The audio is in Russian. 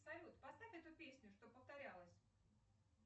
салют поставь эту песню чтоб повторялась